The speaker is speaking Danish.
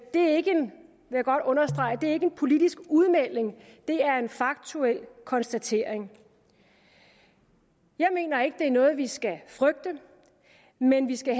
det er ikke vil jeg godt understrege en politisk udmelding det er en faktuel konstatering jeg mener ikke det er noget vi skal frygte men vi skal